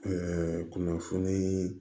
kunnafoniii